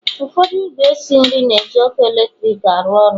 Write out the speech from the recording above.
Ụfọdụ ìgwè esi nri na-eji ọkụ eletrik arụ ọrụ